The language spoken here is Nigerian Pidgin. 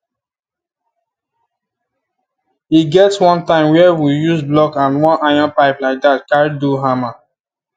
e get one time were we use block and one iron pipe like dat carry do harmmer